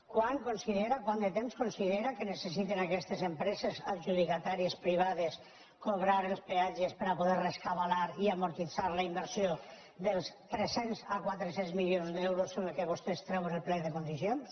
quant de temps considera que necessiten aquestes empreses adjudicatàries privades cobrar els peatges per a poder rescabalar i amortitzar la inversió dels tres cents a quatre cents milions d’euros amb què vostès treuen el plec de condicions